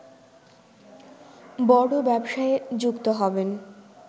বড় ব্যবসায়ে যুক্ত হবেন